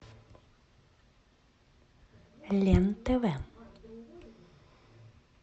лен тв